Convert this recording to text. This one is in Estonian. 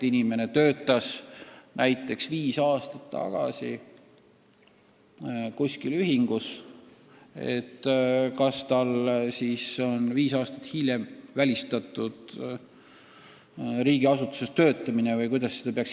Kui inimene töötas näiteks viis aastat tagasi kuskil ühingus, kas tal on siis välistatud riigiasutuses töötamine?